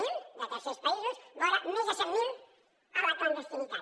zero de tercers països vora més de cent mil a la clandestinitat